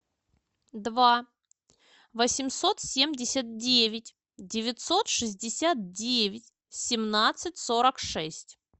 два восемьсот семьдесят девять девятьсот шестьдесят девять семнадцать сорок шесть